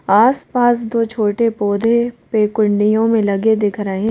आस-पास दो छोटे पौधे पेकुंडियों में लगे दिख रहे हैं।